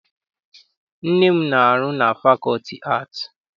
Nne m na-arụ na fakọlti aatị.